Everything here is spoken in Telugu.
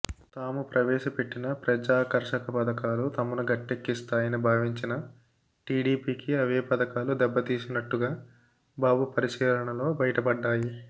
తాము ప్రవేశపెట్టిన ప్రజాకర్షక పథకాలు తమను గట్టెక్కిస్తాయని భావించిన టీడీపీకి అవే పథకాలు దెబ్బసినట్టుగా బాబు పరిశీలనలో బయటపడ్డాయి